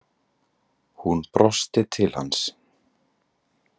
Hún brosti til hans.